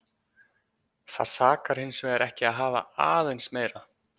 Það sakar hins vegar ekki að hafa aðeins meira.